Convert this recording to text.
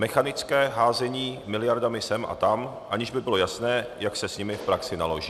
Mechanické házení miliardami sem a tam, aniž by bylo jasné, jak se s nimi v praxi naloží.